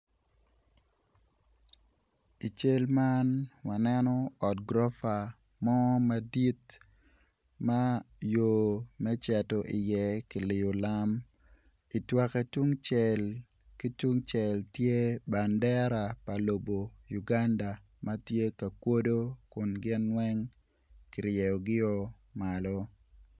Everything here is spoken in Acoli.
I cal man waneno ot gurofa mo madit ma yo me cito iye kiliyo lam itwoke tungcel ki tungcel tye bandera pa lobo Uganda ma tye ka kodo kun gin weng kiryeyogio malo.